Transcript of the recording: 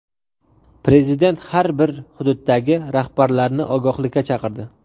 Prezident har bir hududdagi rahbarlarni ogohlikka chaqirdi.